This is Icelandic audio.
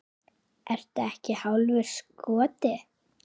Ertu ekki hálfur skoti?